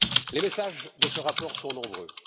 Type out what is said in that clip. Les messages de ce rapport sont nombreux.